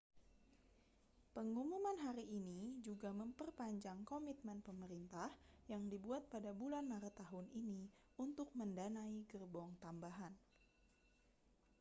pengumuman hari ini juga memperpanjang komitmen pemerintah yang dibuat pada bulan maret tahun ini untuk mendanai gerbong tambahan